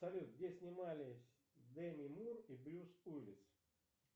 салют где снимались деми мур и брюс уиллис